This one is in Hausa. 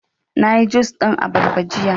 Na yi jus ɗin abarba jiya